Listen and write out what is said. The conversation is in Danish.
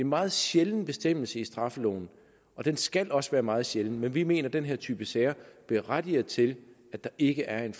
meget sjælden bestemmelse i straffeloven og den skal også være meget sjælden men vi mener at den her type sager berettiger til at der ikke er en